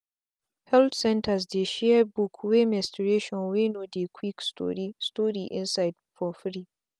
health centres dey share book wey menstruation wey no dey quick story story inside for free.